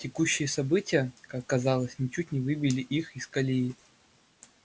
текущие события как казалось ничуть не выбили их из колеи